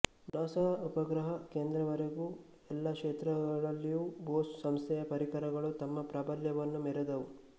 NASA ಉಪಗ್ರಹ ಕೇಂದ್ರದವರೆಗೂ ಎಲ್ಲ ಕ್ಷೇತ್ರಗಳಲ್ಲಿಯೂ ಬೋಸ್ ಸಂಸ್ಥೆಯ ಪರಿಕರಗಳು ತಮ್ಮ ಪ್ರಾಬಲ್ಯವನ್ನು ಮೆರೆದವು